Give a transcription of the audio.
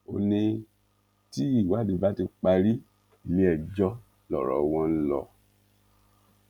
ó ní tí ìwádìí bá ti parí iléẹjọ lọrọ wọn ń lọ